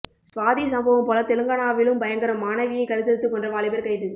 சுவாதி சம்பவம் போல தெலங்கானாவிலும் பயங்கரம் மாணவியை கழுத்தறுத்து கொன்ற வாலிபர் கைது